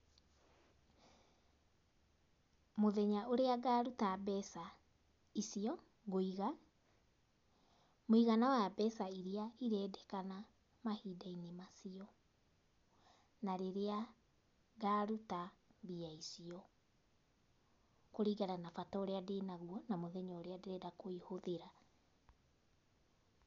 Mῦthenya ῦrῖa ngaruta mbeca icio nguiga, mῦigana wa mbeca iria irendekana mahindainῖ macio na rῖrῖa ngaruta mbia icio kῦringana na bata ῦrῖa ndῖnaguo kana mῦthenya ῦria ndῖrenda kῦihῦthῖra.